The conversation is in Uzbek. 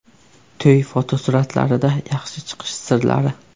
To‘y fotosuratlarida yaxshi chiqish sirlari.